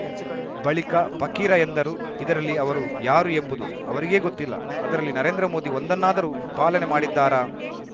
ಬಳಿಕ ಫಕೀರ ಎಂದರು ಇದರಲ್ಲಿ ಅವರು ಯಾರು ಎಂಬುದು ಅವರಿಗೇ ಗೊತ್ತಿಲ್ಲ ಅದರಲ್ಲಿ ನರೇಂದ್ರ ಮೋದಿ ಒಂದನ್ನಾದರೂ ಪಾಲನೆ ಮಾಡಿದ್ದಾರಾ